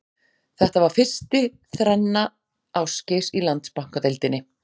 Þetta var fyrsti þrenna Ásgeirs í Landsbankadeildinni.